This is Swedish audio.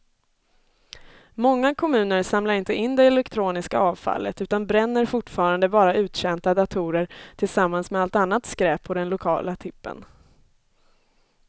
Många kommuner samlar inte in det elektroniska avfallet utan bränner fortfarande bara uttjänta datorer tillsammans med allt annat skräp på den lokala tippen.